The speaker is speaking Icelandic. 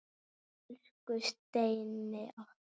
Elsku Steini okkar.